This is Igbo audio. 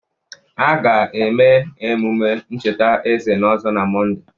A ga-eme emume ncheta eze n'Ozo na Mọnde.